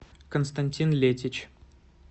константин летич